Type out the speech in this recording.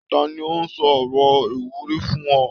Ta ni ó sọ ọ̀rọ̀ ìwúrí fún ọ?